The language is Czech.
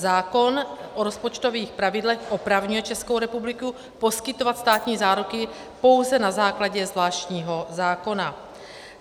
Zákon o rozpočtových pravidlech opravňuje Českou republiku poskytovat státní záruky pouze na základě zvláštního zákona.